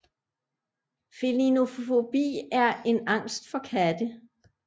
Felinofobi er en angst for katte